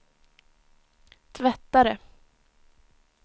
tvättare